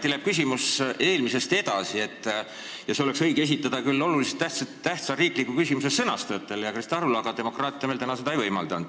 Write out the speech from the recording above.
Minu küsimus läheb mõneti eelmisest edasi ja see oleks õige esitada oluliselt tähtsa riikliku küsimuse sõnastajatele, sh Krista Arule, aga täna polnud see võimalik.